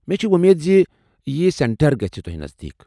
مے٘ چھے٘ وۄمید زِ یی سینٹر گژھِ تۄہہِ نزدیٖک۔